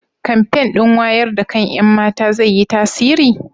kamfen ɗin wayar da kan ƴan mata zai yi tasiri?